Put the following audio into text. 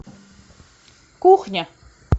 кухня